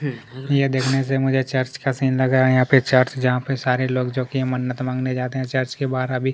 यह देखने से मुझे चर्च का सीन लग रहा है यहाँ पे चर्च जहाँ पे सारे लोग मन्नत मांगने जाते हैं चर्च के बाहर अभी--